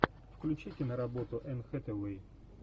включи киноработу энн хэтэуэй